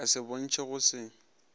ka se bontšhe go se